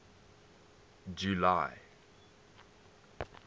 july